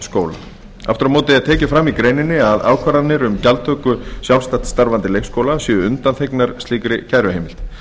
skóla aftur á móti er tekið fram í greininni að ákvarðanir um gjaldtöku sjálfstætt starfandi leikskóla séu undanþegnar slíkri kæruheimild